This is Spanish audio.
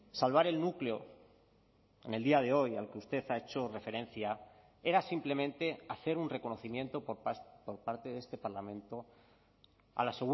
salvar el núcleo en el día de hoy al que usted ha hecho referencia era simplemente hacer un reconocimiento por parte de este parlamento a la